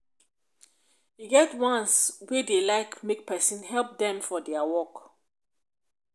e get ones ones wey dey like make pesin help dem for dia work